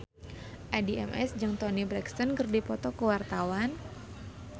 Addie MS jeung Toni Brexton keur dipoto ku wartawan